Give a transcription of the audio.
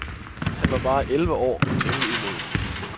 Han var bare elleve år og temmelig umoden.